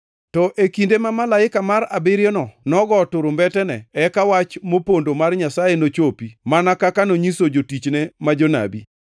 To e kinde, ma malaika mar abiriyono nogo turumbetene, eka wach mopondo mar Nyasaye nochopi, mana kaka nonyiso jotichne ma jonabi.